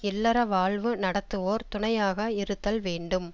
இல்லற வாழ்வு நடத்துவோர் துணையாக இருத்தல் வேண்டும்